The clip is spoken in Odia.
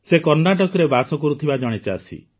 ସେ କର୍ଣ୍ଣାଟକରେ ବାସ କରୁଥିବା ଜଣେ ଚାଷୀ